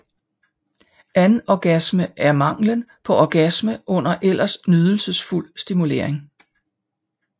Anorgasme er manglen på orgasme under ellers nydelsesfuld stimulering